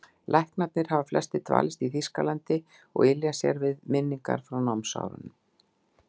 Læknarnir hafa flestir dvalist í Þýskalandi og ylja sér við minningar frá námsárunum.